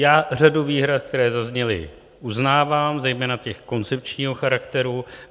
Já řadu výhrad, které zazněly, uznávám, zejména toho koncepčního charakteru.